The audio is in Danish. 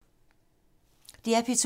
DR P2